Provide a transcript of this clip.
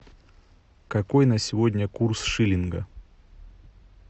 какой на сегодня курс шиллинга